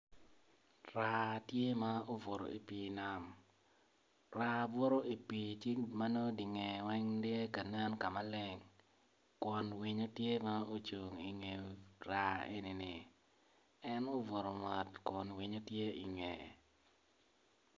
Raa tye ma obuto i pi nam, raa buto i di pi ci manongo dye nge weng tye kanen maleng kun winyo tye ma ocung i nge raa enini, en obuto mot kun winyo tye i nge.